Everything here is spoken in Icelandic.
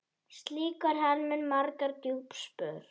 Slíkur harmur markar djúp spor.